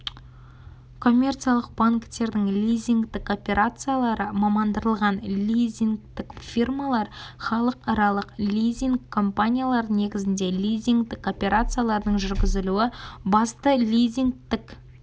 коммерциялық банктердің лизингтік операциялары мамандандырылған лизингтік фирмалар халықаралық лизинг компаниялары негізіндегі лизингтік операциялардың жүргізілу басты лизингтік